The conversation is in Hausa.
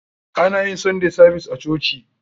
Ana yin sunday savis a coci.